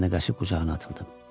Mən də qaçıb qucağına atıldım.